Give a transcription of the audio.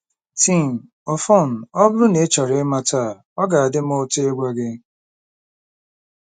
Tim: Ọfọn, ọ bụrụ na ị chọrọ ịmata, ọ ga-adị m ụtọ ịgwa gị.